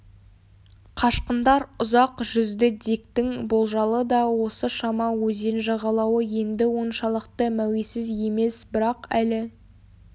қашқындар ұзақ жүзді диктің болжалы да осы шама өзен жағалауы енді оншалықты мәуесіз емес бірақ әлі